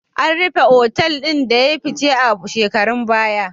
An rufe otal ɗin da ya yi fice a shekarun baya.